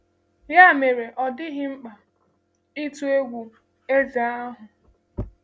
Ya mere, ọ dịghị mkpa ịtụ egwu eze um ahụ.